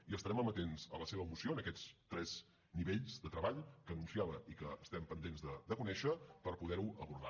i estarem amatents a la seva moció en aquests tres nivells de treball que anunciava i que estem pendents de conèixer per poder ho abordar